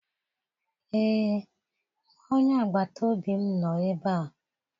Ee, nwa onye agbata obi m nọ ebe a.